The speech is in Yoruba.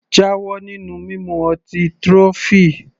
Jáwọ́ nínú mímu ọtí trophy!